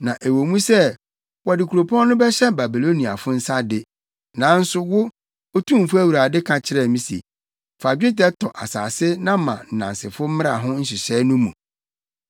Na ɛwɔ mu sɛ wɔde kuropɔn no bɛhyɛ Babiloniafo nsa de, nanso wo, Otumfo Awurade, ka kyerɛ me se, ‘Fa dwetɛ tɔ asase na ma nnansefo mmra ho nhyehyɛe no mu.’ ”